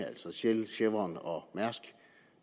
altså shell chevron og mærsk